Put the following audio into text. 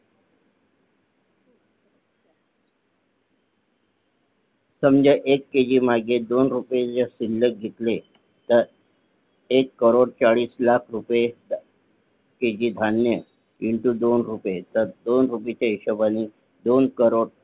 समजा एक KG मागे दोन रुपये जर समजा घेतले तर एक कोटी चाळीस लाख रुपये KG धान्य Into दोन रुपये तर दोन रुपयाचा हिशोबानी दोन कोटी